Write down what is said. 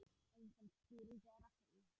Einföld skýring er á því.